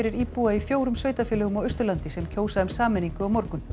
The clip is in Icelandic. íbúa í fjórum sveitarfélögum á Austurlandi sem kjósa um sameiningu á morgun